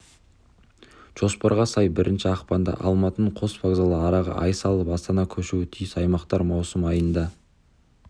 жоспарға сай бірінші ақпанда алматының қос вокзалы араға ай салып астана көшуі тиіс аймақтар маусым айында